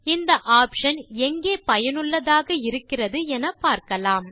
இந்த ஆப்ஷன் எங்கே பயனுள்ளதாக இருக்கிறது என பார்க்கலாம்